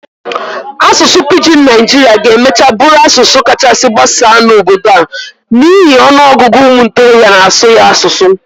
Asụsụ Pijin Naijiria ga-emachaa bụrụ asụsụ kachasị gbasaa n'obodo a n'ihi ọnụ ọgụgụ ụmụ ntorobịa n'asụ ya asụsụ.